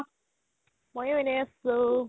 মইও এনে আছো